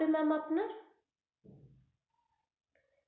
Ma'am আপনার.